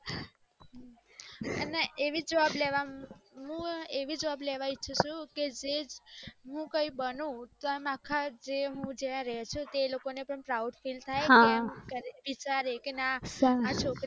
ને વી job લવામાં હું એવી job લેવા ઈચ્છું છુ કે જે હું કઈ બનું તો અમ અખા જે હું જ્યાં રુ ચુ ક ત્યાં બધાને proud થાય કે અને વિચારે કે ના છોકરી